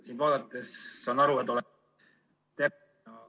Sind vaadates ma saan aru, et oled ... [Ühendus hakib.